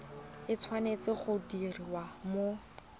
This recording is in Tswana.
e tshwanetse go diriwa mo